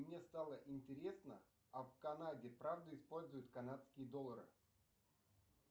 мне стало интересно а в канаде правда используют канадские доллары